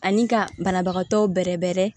Ani ka banabagatɔ bɛrɛ bɛrɛ